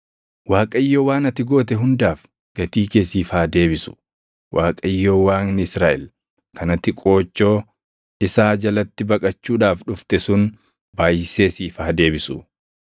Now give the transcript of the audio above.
Waaqayyo waan ati goote hundaaf gatii kee siif haa deebisu. Waaqayyo Waaqni Israaʼel kan ati qoochoo isaa jalatti baqachuudhaaf dhufte sun baayʼisee siif haa deebisu.”